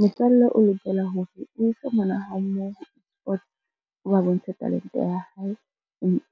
Motswalle o lokela hore o ise ngwana hao moo o ba bontshe talente ya hae,